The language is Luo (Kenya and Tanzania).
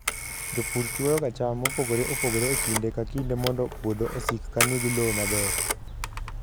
Jopur chwoyoga cham mopogore opogore e kinde ka kinde mondo puodho osik ka nigi lowo maber.